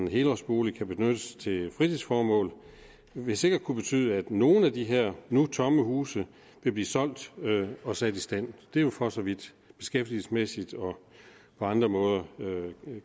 helårsbolig kan benyttes til fritidsformål vil sikkert kunne betyde at nogle af de her nu tomme huse vil blive solgt og sat i stand det er jo for så vidt beskæftigelsesmæssigt og på andre måder